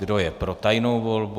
Kdo je pro tajnou volbu?